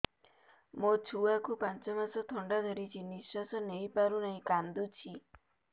ମୋ ଛୁଆକୁ ପାଞ୍ଚ ମାସ ଥଣ୍ଡା ଧରିଛି ନିଶ୍ୱାସ ନେଇ ପାରୁ ନାହିଁ କାଂଦୁଛି